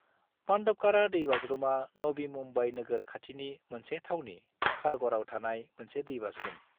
पांडवकाड़ा दै-बाज्रुमा नवी मुम्बाइ नोगोर खाथिनि मोनसे थावनि खारघराव थानाय मोनसे दै-बाज्रुम।